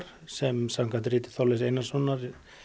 sem samkvæmt riti Þorleifs Einarssonar